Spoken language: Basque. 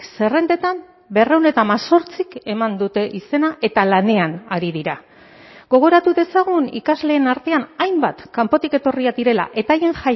zerrendetan berrehun eta hemezortzik eman dute izena eta lanean ari dira gogoratu dezagun ikasleen artean hainbat kanpotik etorriak direla eta haien